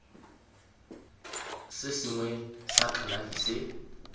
se sengwe sa kalafi se